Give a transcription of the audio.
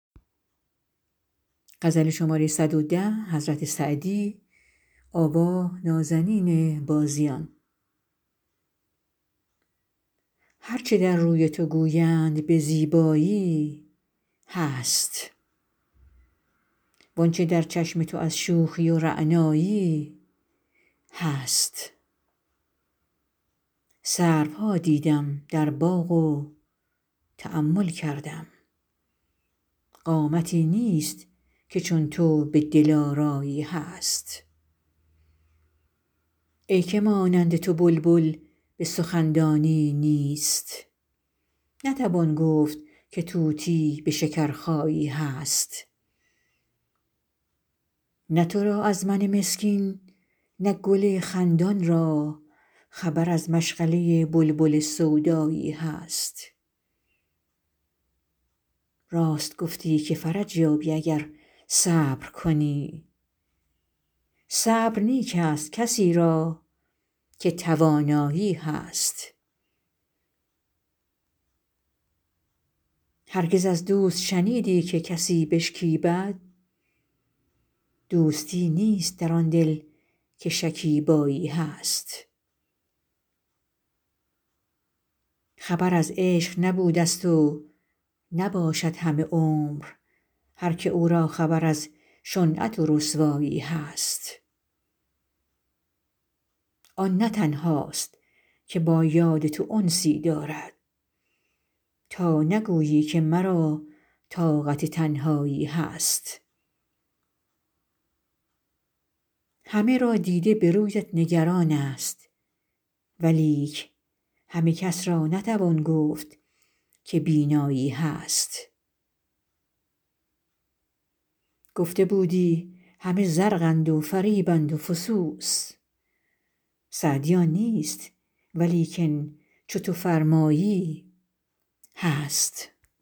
هر چه در روی تو گویند به زیبایی هست وان چه در چشم تو از شوخی و رعنایی هست سروها دیدم در باغ و تأمل کردم قامتی نیست که چون تو به دلآرایی هست ای که مانند تو بلبل به سخن دانی نیست نتوان گفت که طوطی به شکرخایی هست نه تو را از من مسکین نه گل خندان را خبر از مشغله بلبل سودایی هست راست گفتی که فرج یابی اگر صبر کنی صبر نیک ست کسی را که توانایی هست هرگز از دوست شنیدی که کسی بشکیبد دوستی نیست در آن دل که شکیبایی هست خبر از عشق نبودست و نباشد همه عمر هر که او را خبر از شنعت و رسوایی هست آن نه تنهاست که با یاد تو انسی دارد تا نگویی که مرا طاقت تنهایی هست همه را دیده به رویت نگران ست ولیک همه کس را نتوان گفت که بینایی هست گفته بودی همه زرقند و فریبند و فسوس سعدی آن نیست ولیکن چو تو فرمایی هست